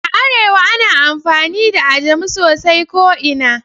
A arewa ana amfani da Ajami sosai ko ina